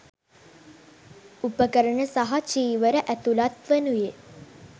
උපකරණ සහ චීවර ඇතුළත් වනුයේ